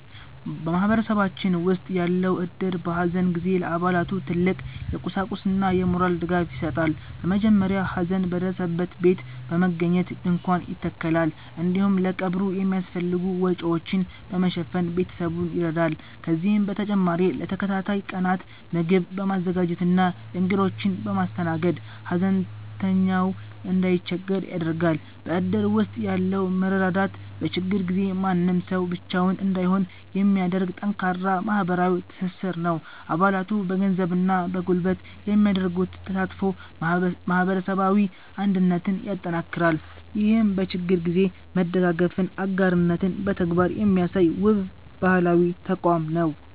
በማህበረሰባችን ውስጥ ያለው እድር፣ በሐዘን ጊዜ ለአባላቱ ትልቅ የቁሳቁስና የሞራል ድጋፍ ይሰጣል። በመጀመሪያ ሐዘን በደረሰበት ቤት በመገኘት ድንኳን ይተከላል፤ እንዲሁም ለቀብሩ የሚያስፈልጉ ወጪዎችን በመሸፈን ቤተሰቡን ይረዳል። ከዚህም በተጨማሪ ለተከታታይ ቀናት ምግብ በማዘጋጀትና እንግዶችን በማስተናገድ፣ ሐዘንተኛው እንዳይቸገር ያደርጋል። በእድር ውስጥ ያለው መረዳዳት፣ በችግር ጊዜ ማንም ሰው ብቻውን እንዳይሆን የሚያደርግ ጠንካራ ማህበራዊ ትስስር ነው። አባላቱ በገንዘብና በጉልበት የሚያደርጉት ተሳትፎ ማህበረሰባዊ አንድነትን ያጠናክራል። ይህም በችግር ጊዜ መደጋገፍንና አጋርነትን በተግባር የሚያሳይ፣ ውብ ባህላዊ ተቋም ነው።